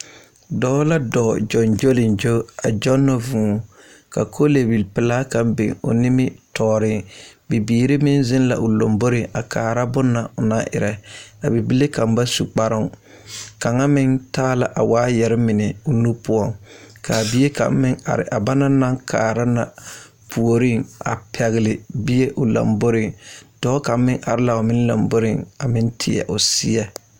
Dɔɔ la dɔɔ gyoŋgyolenŋgyo a gyɔnnɔ vuu ka koleebilpelaa kaŋa biŋ o nimitɔɔre bibiiri meŋ zeŋ la o lomboreŋ a kaara bonne na o naŋ erɛ a bibile kaŋ ba su kparoŋ kaŋa meŋ taa la waayɛre mine o nu poɔŋ ka a bie kaŋ meŋ are a ba naŋ kaara na puoriŋ a pɛgle bie o lomboreŋ dɔɔ kaŋ meŋ are la o lomboreŋ a meŋ ti a o seɛ.